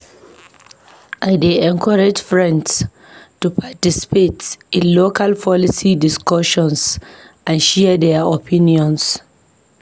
I dey encourage friends to participate in local policy discussions and share their opinions.